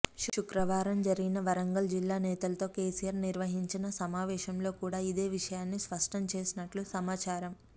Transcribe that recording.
శుక్రవారం జరిగిన వరంగల్ జిల్లా నేతలతో కెసిఆర్ నిర్వహించిన సమావేశంలో కూడా ఇదే విషయాన్ని స్పష్టం చేసినట్లు సమాచారం